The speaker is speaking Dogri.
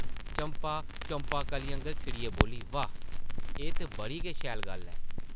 चंपा चंपा कली आंगर खिड़ियै बोल्ली, वाह्, एह् ते बड़ी गै शैल गल्ल ऐ ।